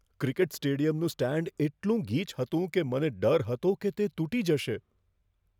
Cricket સ્ટેડિયમનું stand એટલું ગીચ હતું કે મને ડર હતો કે તે તૂટી જશે.